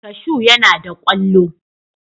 Kashu yana da kwallo.